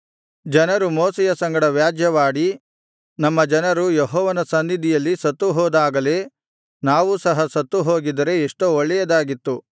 ಜನರು ಮೋಶೆಯ ಸಂಗಡ ವ್ಯಾಜ್ಯವಾಡಿ ನಮ್ಮ ಜನರು ಯೆಹೋವನ ಸನ್ನಿಧಿಯಲ್ಲಿ ಸತ್ತುಹೋದಾಗಲೇ ನಾವೂ ಸಹ ಸತ್ತುಹೋಗಿದ್ದರೆ ಎಷ್ಟೋ ಒಳ್ಳೆಯದಾಗಿತ್ತು